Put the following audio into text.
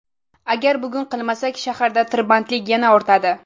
Agar bugun qilmasak, shaharda tirbandlik yana ortadi.